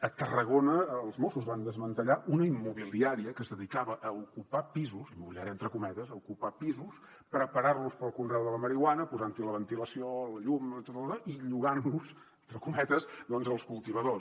a tarragona els mossos van desmantellar una immobiliària que es dedicava a ocupar pisos immobiliària entre cometes a ocupar pisos preparar los per al conreu de la marihuana posant hi la ventilació la llum i tot el dallò i llogant los entre cometes als cultivadors